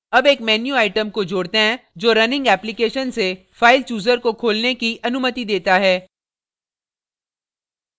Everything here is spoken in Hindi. add एक menu item को जोड़ते हैं जो running application से filechooser को खोलने की अनुमति देता है